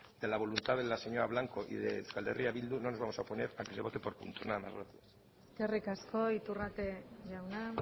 de la voluntad de la señora blanco y de eh bildu no nos vamos a oponer a que se vote por puntos nada más gracias eskerrik asko iturrate jauna